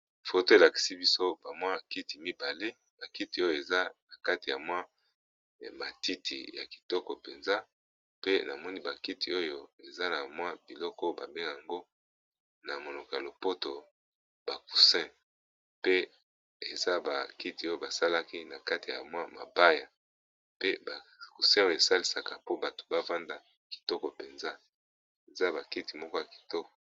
Photo elakisi biso kiti mibale bakiti ,oyo eza na kati ya matiti ya kitoko mpenza pe na moni ba kiti oyo eza na biloko babengi yango na monoko ya lopoto ba coussin pe eza bakiti oyo basalaki na kati ya mabaya, pe ba coussin oyo esalisaka po bato bafanda kitoko mpenza eza bakiti moko ya kitoko.